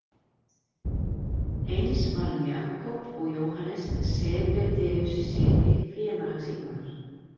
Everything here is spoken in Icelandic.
Eins var um Jakob og Jóhannes Sebedeussyni, félaga Símonar.